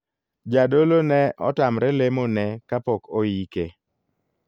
Jadolo ne otamre lemo ne kapok oike.